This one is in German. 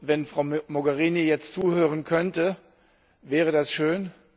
Wenn Frau Mogherini jetzt zuhören könnte, wäre das schön.